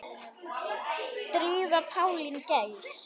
Drífa Pálín Geirs.